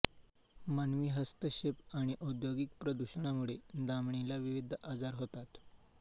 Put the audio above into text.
मानवी हस्तक्षेप आणि औद्योगिक प्रदूषणामुळे धामणीला विविध आजार होतात